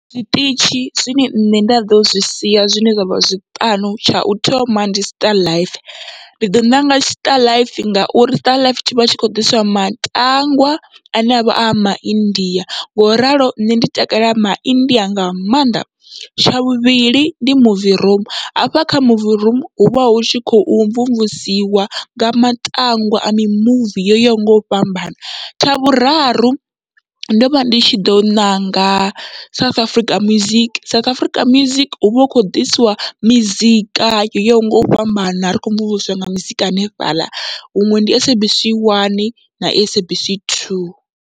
Zwiṱitshi zwine nṋe nda ḓo zwi sia zwine zwavha zwiṱanu, tshau thoma ndi starlife ndi ḓo ṋanga starlife ngauri starlife tshivha tshi kho ḓiswa matangwa ane avha a maindia, ngoralo nṋe ndi takalela maIndia nga maanḓa, tsha vhuvhili ndi movie room hafha kha movie room huvha hu tshi khou mvumvusiwa nga matangwa a mimuvi yo yaho ngau fhambana. Tsha vhuraru ndo vha ndi tshi ḓo ṋanga South Africa music, South Africa music huvha hu kho ḓisiwa mizika yo yaho ngau fhambana ri kho mvumvusiwa nga muzika hanefhaḽa huṅwe ndi SABC 1 na SABC 2.